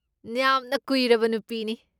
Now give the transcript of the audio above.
ꯌꯥꯝꯅ ꯀꯨꯏꯔꯕ ꯅꯨꯄꯤꯅꯤ꯫